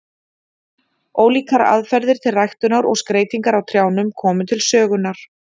Ólíkar aðferðir til ræktunar og skreytingar á trjánum komu til sögunnar.